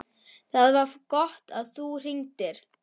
ÞAÐ VAR GOTT AÐ ÞÚ HRINGDIR.